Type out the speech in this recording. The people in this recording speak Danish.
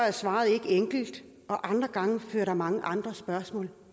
er svaret ikke enkelt og andre gange fører det mange andre spørgsmål